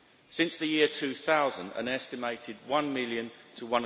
Since the year 2000, an estimated 1 million to